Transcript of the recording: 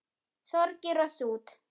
Sorgir og sút